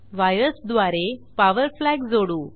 वायर्सद्वारे power flag जोडू